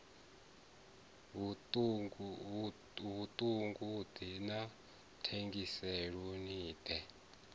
vhuṱun ḓi na thengiselonn ḓa